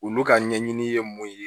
Olu ka ɲɛɲini ye mun ye